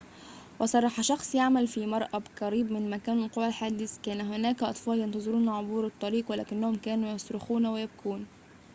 وصرح شخصٌ يعمل في مرآبٍ قريب من مكان وقوع الحادث كان هناك أطفالٌ ينتظرون عبور الشارع وكلهم كانوا يصرخون ويبكون